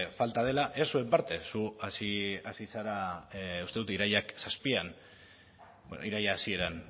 falta dela ez zuen partez zu hasi zara uste dut irailaren zazpian iraila hasieran